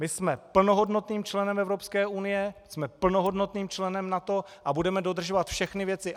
My jsme plnohodnotným členem Evropské unie, jsme plnohodnotným členem NATO a budeme dodržovat všechny věci.